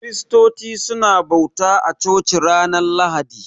Kiristoci su na bauta a coci ranar lahadi